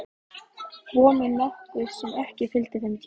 Vonin nokkuð sem ekki fylgdi þeim tíma.